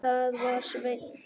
Það var Sveinn.